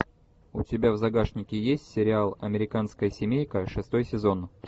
у тебя в загашнике есть сериал американская семейка шестой сезон